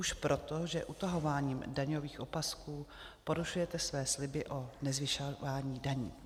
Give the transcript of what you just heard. Už proto, že utahováním daňových opasků porušujete své sliby o nezvyšování daní.